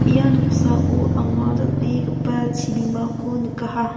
ia noksao anga dal·begipa chibimako nikaha.